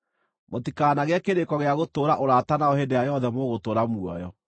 Mũtikanagĩe kĩrĩko gĩa gũtũũra ũrata nao hĩndĩ ĩrĩa yothe mũgũtũũra muoyo.